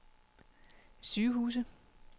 sygehuse